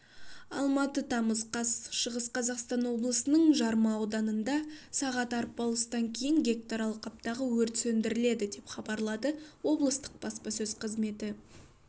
алматы тамыз қаз шығыс қазақстан облысының жарма ауданында сағат арпалыстан кейін гектар алқаптағы өрт сөндірілді деп хабарлады облыстық баспасөз қызметі